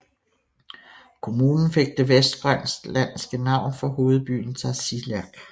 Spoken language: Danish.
Kommunen fik det vestgrønlandske navn for hovedbyen Tasiilaq